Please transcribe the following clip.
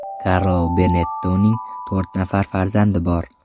Karlo Benettonning to‘rt nafar farzandi bor.